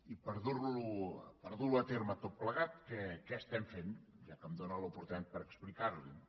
i per dur ho a terme tot plegat què estem fent ja que em dóna l’oportunitat per explicar li ho